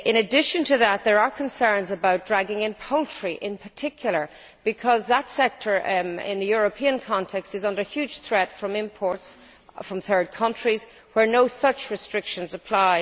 In addition to that, there are concerns about dragging in poultry, in particular, because that European sector is under huge threat from imports from third countries, where no such restrictions apply.